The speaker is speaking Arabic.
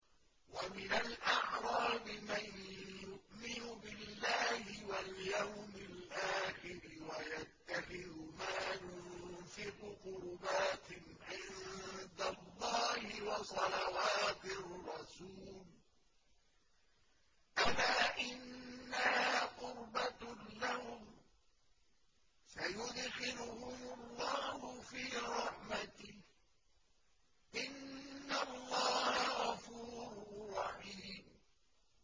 وَمِنَ الْأَعْرَابِ مَن يُؤْمِنُ بِاللَّهِ وَالْيَوْمِ الْآخِرِ وَيَتَّخِذُ مَا يُنفِقُ قُرُبَاتٍ عِندَ اللَّهِ وَصَلَوَاتِ الرَّسُولِ ۚ أَلَا إِنَّهَا قُرْبَةٌ لَّهُمْ ۚ سَيُدْخِلُهُمُ اللَّهُ فِي رَحْمَتِهِ ۗ إِنَّ اللَّهَ غَفُورٌ رَّحِيمٌ